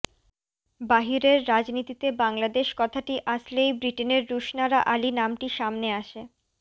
বাহিরের রাজনীতিতে বাংলাদেশ কথাটি আসলেই ব্রিটেনের রুশনারা আলী নামটি সামনে আসে